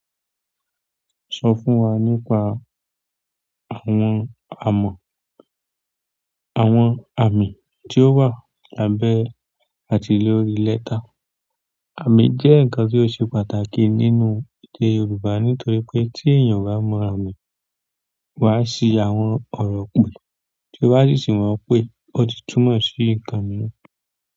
Sọ fún wa nípa àwọn amọ̀, àwọn àmì tí ó wà lábẹ́ àti lórí lẹ́tà. Àmì jẹ́ nǹkan tí ó ṣe pàtàkì nínú èdè Yorùbá nítorí pé tí èèyàn o bá mọ àmì, wà á sì àwọn ọ̀rọ̀ pè tí o bá sí sí wọn pé ó ti túmọ̀ sí nǹkan mìíràn.